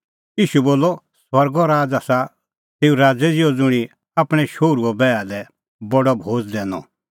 ईशू बोलअ स्वर्गो राज़ आसा तेऊ राज़ै ज़िहअ ज़ुंणी आपणैं शोहरूए बैहा लै बडअ भोज़ दैनअ